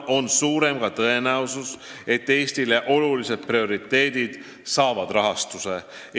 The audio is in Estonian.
Nii on suurem ka tõenäosus, et Eestile oluliste prioriteetide järgimine saab rahastuse.